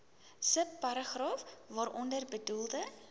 subparagraaf waaronder bedoelde